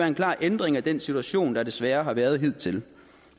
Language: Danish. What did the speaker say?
en klar ændring af den situation der desværre har været hidtil